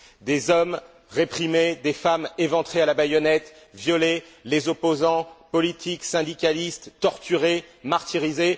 Des hommes réprimés, des femmes éventrées à la baïonnette, violées, les opposants politiques, syndicalistes torturés, martyrisés.